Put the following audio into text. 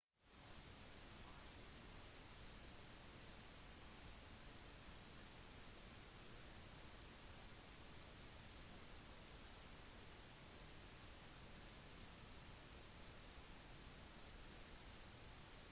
myndighetene spekulerer i om det er et tegn på at beholdere med urandrivstoff på stedet kan ha sprukket og gått lekk